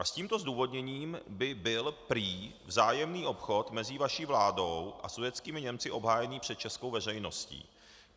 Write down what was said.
A s tímto zdůvodněním by byl prý vzájemný obchod mezi vaší vládou a sudetskými Němci obhájený před českou veřejností.